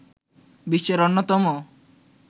বিশ্বের অন্যতম